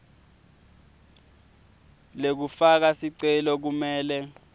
lekufaka sicelo kumele